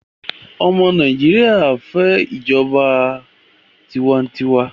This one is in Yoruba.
ọmọ Nàìjíría n'ifẹ ìjọba tiwantiwa